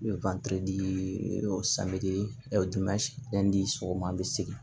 di sɔgɔma an be segin